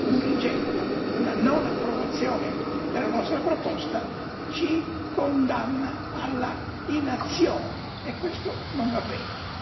Un rigetto, una non approvazione della nostra proposta ci condanna alla inazione e questo non va bene.